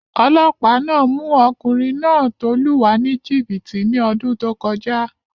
Olọ́pàá náà mú ọkùnrin náà tó lù wá ní jìbìtì ní ọdún tó kọjá